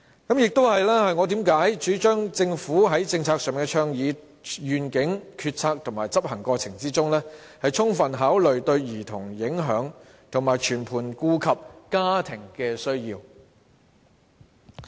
這亦是我為何主張政府應在政策的倡議、願景、決策和執行過程中，充分考慮對兒童的影響，並全盤顧及家庭的需要。